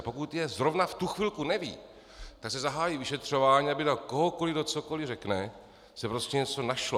A pokud je zrovna v tu chvilku neví, tak se zahájí vyšetřování, aby na kohokoli kdo cokoli řekne, se prostě něco našlo.